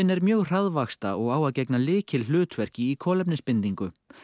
er mjög hraðvaxta og á að gegna lykilhlutverki í kolefnisbindingu